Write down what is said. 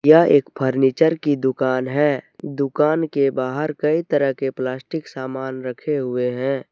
यह एक फर्नीचर की दुकान है दुकान के बाहर कई तरह के प्लास्टिक सामान रखे हुए हैं।